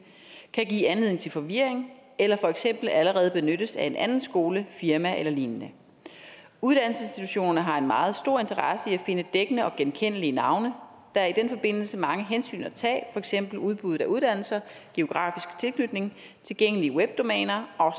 kan give anledning til forvirring eller for eksempel allerede benyttes af en anden skole et firma eller lignende uddannelsesinstitutionerne har en meget stor interesse i at finde dækkende og genkendelige navne der er i den forbindelse mange hensyn at tage for eksempel udbuddet af uddannelser geografisk tilknytning tilgængelige web domæner og